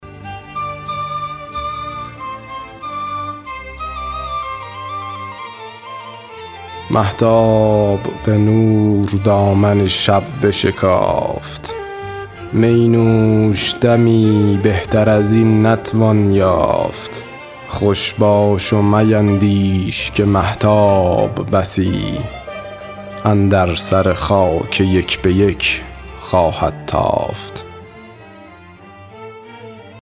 مهتاب به نور دامن شب بشکافت می نوش دمی بهتر از این نتوان یافت خوش باش و میندیش که مهتاب بسی اندر سر خاک یک به یک خواهد تافت